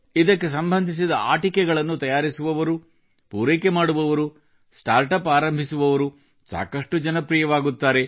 ಇದಕ್ಕೆ ಸಂಬಂಧಿಸಿದ ಆಟಿಕೆಗಳನ್ನು ತಯಾರಿಸುವವರು ಪೂರೈಕೆ ಮಾಡುವವರು ಸ್ಟಾರ್ಟ್ ಅಪ್ ಆರಂಭಿಸುವವರು ಸಾಕಷ್ಟು ಜನಪ್ರಿಯವಾಗುತ್ತಾರೆ